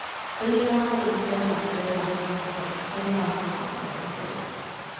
fyra sju fyra fyra fjorton fyrahundrafyrtiosex